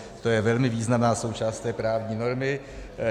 To je velmi významná součást té právní normy.